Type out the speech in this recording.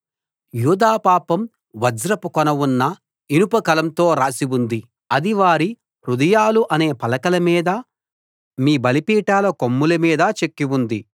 యూదా పాపం వజ్రపు కొన ఉన్న ఇనుప కలంతో రాసి ఉంది అది వారి హృదయాలు అనే పలకల మీద మీ బలిపీఠాల కొమ్ముల మీద చెక్కి ఉంది